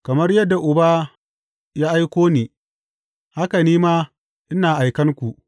Kamar yadda Uba ya aiko ni, haka ni ma ina aikan ku.